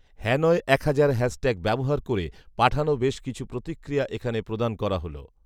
Hanoi হাজার hashtag ব্যবহার করে পাঠানো বেশ কিছু প্রতিক্রিয়া এখানে প্রদান করা হল